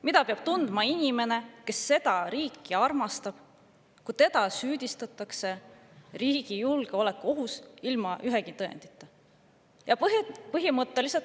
Mida peab tundma inimene, kes seda riiki armastab, kui teda süüdistatakse selles, et ta on riigile julgeolekuoht, kusjuures ilma ühegi tõendita?